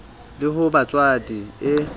le ho ba motswadi e